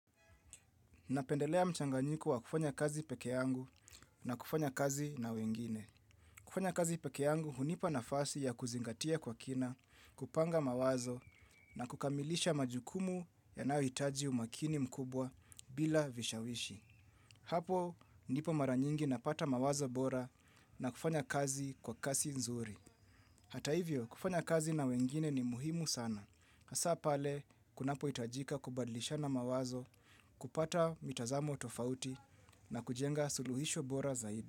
Napendelea mchanganyiko wa kufanya kazi peke yangu na kufanya kazi na wengine. Kufanya kazi peke yangu, hunipa nafasi ya kuzingatia kwa kina, kupanga mawazo na kukamilisha majukumu yanayohitaji umakini mkubwa bila vishawishi. Hapo, ndipo mara nyingi napata mawazo bora na kufanya kazi kwa kasi nzuri. Hata hivyo, kufanya kazi na wengine ni muhimu sana. Hasa pale, kunapohitajika kubadilishana mawazo, kupata mitazamo tofauti na kujenga suluhisho bora zaidi.